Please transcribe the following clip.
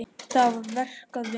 Það var verk að vinna.